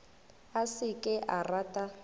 a se ke a rata